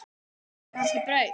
Áttu kannski brauð?